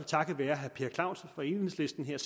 takket være herre per clausen fra enhedslisten en